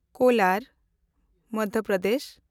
Kolar (Madhya Pradesh)